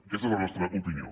aquesta és la nostra opinió